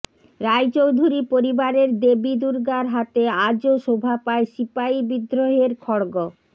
রায়চৌধুরী পরিবারের দেবী দুর্গার হাতে আজও শোভা পায় সিপাহী বিদ্রোহের খড়গ